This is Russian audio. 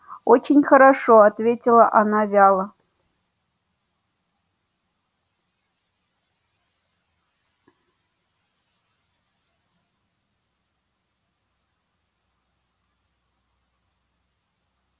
очень хорошо ответила она вяло